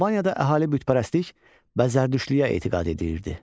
Albaniyada əhali bütpərəstlik və zərdüştlüyə etiqad edirdi.